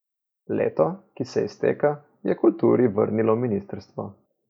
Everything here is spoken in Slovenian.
Leto, ki se izteka, je kulturi vrnilo ministrstvo.